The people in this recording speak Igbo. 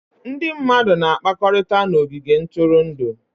Ndị mmadụ na-akpakọrịta na ogige ntụrụndụ.